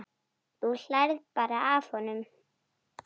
Þú hlærð bara að honum.